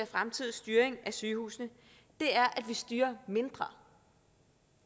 fremtidig styring af sygehusene er at vi styrer mindre